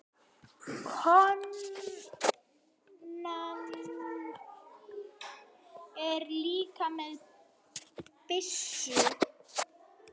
Konan er líka með byssu.